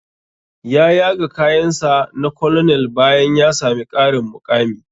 Ya yaga kayan sa na colonel bayan ya sami ƙarin muƙami